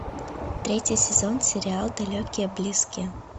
третий сезон сериал далекие близкие